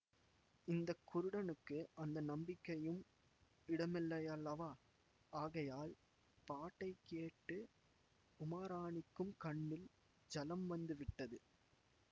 இந்த குருடனுக்கு அந்த நம்பிக்கையும் இடமில்லையல்லவா ஆகையால் பாட்டை கேட்டு உமாராணிக்குக் கண்ணில் ஜலம் வந்து விட்டது